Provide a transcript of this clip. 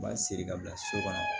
U b'a siri ka bila so kɔnɔ